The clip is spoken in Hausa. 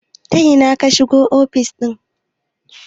ta ina ka shigo ofis ɗin?